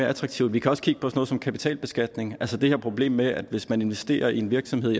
attraktivt vi kan også kigge på noget som kapitalbeskatning altså det her problem med at hvis man investerer i en virksomhed